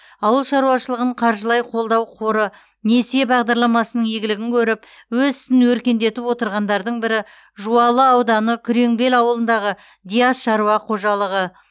ауыл шаруашылығын қаржылай қолдау қоры несие бағдарламасының игілігін көріп өз ісін өркендетіп отырғандардың бірі жуалы ауданы күреңбел ауылындағы диас шаруа қожалығы